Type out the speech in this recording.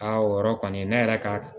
Aa o yɔrɔ kɔni ne yɛrɛ ka